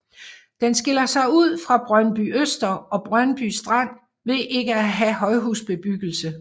Den skiller sig ud fra Brøndbyøster og Brøndby Strand ved ikke at have højhusbebyggelse